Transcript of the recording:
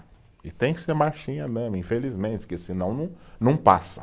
E tem que ser marchinha mesmo, infelizmente, porque senão não, não passa.